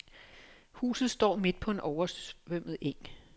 Huset står midt på en oversvømmet eng.